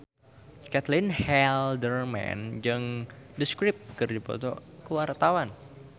Caitlin Halderman jeung The Script keur dipoto ku wartawan